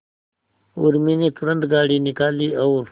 उर्मी ने तुरंत गाड़ी निकाली और